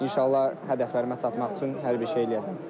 İnşallah hədəflərimə çatmaq üçün hər bir şey eləyəcəm.